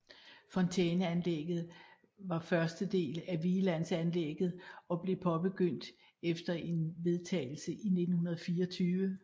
Fontæneanlægget var første del af Vigelandsanlegget og blev påbegyndt efter en vedtagelse i 1924